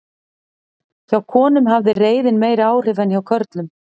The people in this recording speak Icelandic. hjá konum hafði reiðin meiri áhrif en hjá körlum